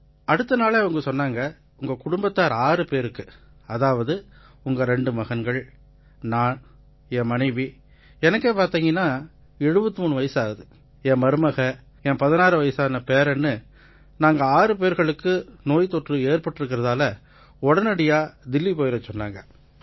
அடுத்த நாளே அவங்க சொன்னாங்க உங்க குடும்பத்தார் ஆறு பேருக்கு அதாவது உங்க ரெண்டு மகன்கள் நான் என் மனைவி எனக்கே பார்த்தீங்கன்னா 73 வயசாகுது என் மருமக என் 16 வயதான பேரன்னு நாங்க 6 பேர்களுக்கு நோய் தொற்று ஏற்பட்டிருக்கறதால உடனடியா தில்லி போயிரச் சொன்னாங்க